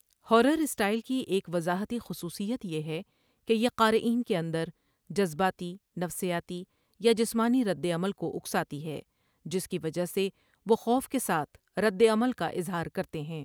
Horror style کی ایک وضاحتی خصوصیت یہ ہے کہ یہ قارئین کے اندر جذباتی، نفسیاتی یا جسمانی ردعمل کو اکساتی ہے جس کی وجہ سے وہ خوف کے ساتھ ردعمل کا اظہار کرتے ہیں۔